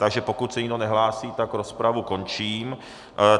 Takže pokud se nikdo nehlásí, tak rozpravu končím.